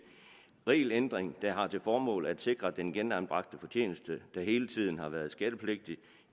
regelændring der har til formål at sikre at den genanbragte fortjeneste der hele tiden har været skattepligtig